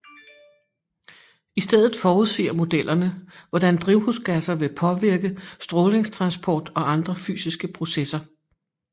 I stedet forudsiger modellerne hvordan drivhusgasser vil påvirke strålingstransport og andre fysiske processer